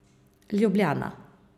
Ljubljana.